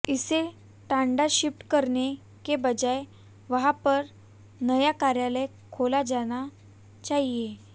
इसे टांडा शिफ्ट करने के बजाय वहां पर नया कार्यालय खोला जाना चाहिए